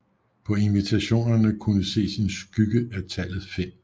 På invitationerne kunne ses en skygge af tallet 5